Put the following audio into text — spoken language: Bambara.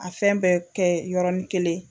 A fɛn bɛɛ kɛ yɔrɔnin kelen